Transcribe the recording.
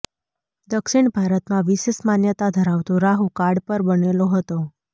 દક્ષિણ ભારતમાં વિશેષ માન્યતા ધરાવતો રાહુ કાળ પર બનેલો હતો